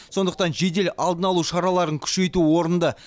сондықтан жедел алдын алу шараларын күшейту орынды